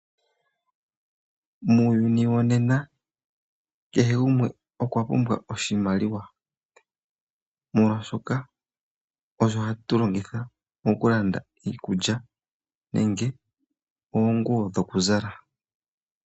Muuyuni wonena kehe gumwe okwapumbwa oshimaliwa molwaashoka osho hatu longitha mokulanda iikulya nenge oonguwo dhokuzala.